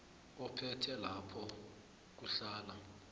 ophethe lapha kuhlala